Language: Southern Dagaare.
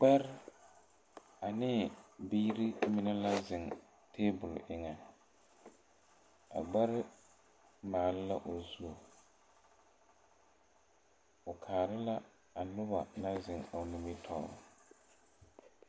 Gbɛre ane biiri mine la ziŋ tabol eŋa a gbɛre maale la o zu o kaare la a noba naŋ ziŋ o nimitɔɔr.